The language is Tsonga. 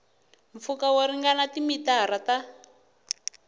mpfhuka wo ringana timitara ta